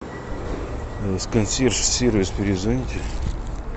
с консьерж сервис перезвоните